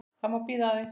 Það má bíða aðeins.